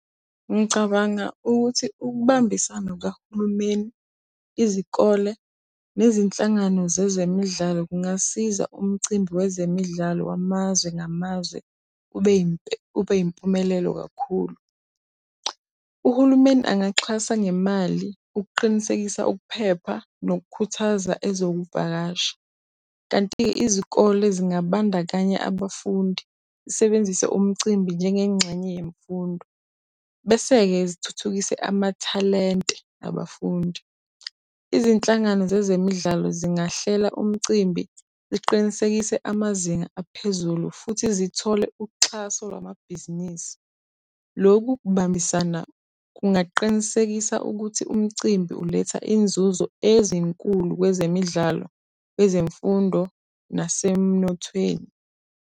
Ngicabanga ukuthi ukubambisana kukahulumeni, izikole nezinhlangano zezemidlalo kungasiza umcimbi wezemidlalo wamazwe ngamazwe ube ube yimpumelelo kakhulu. Uhulumeni angaxhasa ngemali ukuqinisekisa ukuphepha nokukhuthaza ezokuvakasha. Kanti-ke izikole zingabandakanya abafundi, zisebenzise umcimbi njengengxenye yemfundo bese-ke zithuthukise amathalente abafundi. Izinhlangano zezemidlalo zingahlela umcimbi ziqinisekise amazinga aphezulu futhi zithole uxhaso lwamabhizinisi. Loku kubambisana kungaqinisekisa ukuthi umcimbi uletha inzuzo ezinkulu kwezemidlalo, kwezemfundo nasemnothweni.